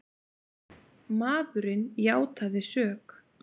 Maðurinn játaði sök